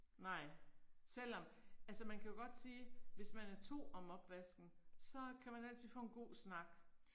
Nej selvom, altså man kan jo godt sige, hvis man er 2 om opvasken, så kan man altid få en god snak